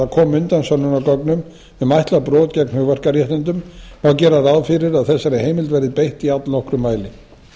undan sönnunargögnum um ætlað brot gegn hugverkaréttindum má gera ráð fyrir að þessari heimild verði beitt í allnokkrum mæli